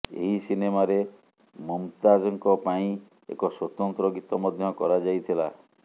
ଏହି ସିନେମାରେ ମୁମତାଜଙ୍କ ପାଇଁ ଏକ ସ୍ୱତନ୍ତ୍ର ଗୀତ ମଧ୍ୟ କରାଯାଇଥିଲା